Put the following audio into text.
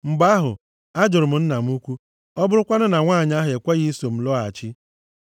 “Mgbe ahụ, ajụrụ m nna m ukwu, ‘Ọ bụrụkwanụ na nwanyị ahụ ekweghị iso m lọghachi?’